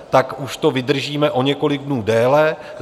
Tak už to vydržíme o několik dnů déle.